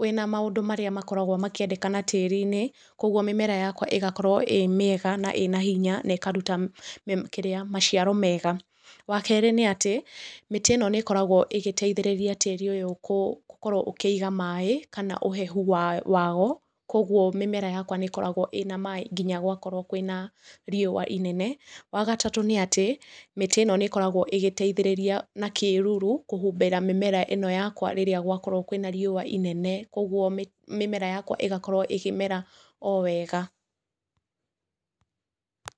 wĩna maũndũ marĩa makoragwo makĩendekana tĩri-inĩ. Kogwo mĩmera yakwa ĩgakorwo ĩĩ mĩega na ĩna hinya na ĩkaruta [kĩrĩa] maciaro mega. Wa kerĩ nĩ atĩ mĩtĩ ĩno nĩ ĩkoragwo ĩgĩteithĩrĩria tĩri ũyũ gũkorwo ũkĩiga maaĩ kana ũhehu wao, kogwo mĩmera yakwa nĩ ĩkoragwo ĩna maaĩ nginya gwakorwo kwĩna rĩũa inene. Wa gatatũ nĩ atĩ mĩtĩ ĩno nĩ ĩkoragwo ĩgĩteithĩrĩria na kĩruru kũhumbĩra mĩmera ĩno yakwa rĩrĩa gwakorwo kwĩna rĩũa inene. Kogwo mĩmera yakwa ĩgakorwo ĩkĩmera o wega.